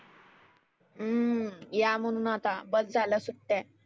हम्म या म्हणुन आता बस झाल्या सुट्टया.